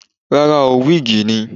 Rárá oo, wíìgì ni.